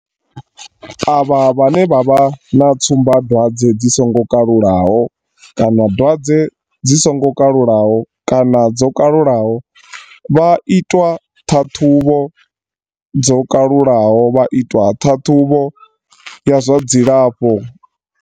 Avha vhane vha vha na tsumbadwadze dzi songo kalulaho kana dwadze dzi songo kalulaho kana dzo kalulaho vha itwa ṱhaṱhuvho dzo kalulaho vha itwa ṱhaṱhuvho ya zwa dzilafho.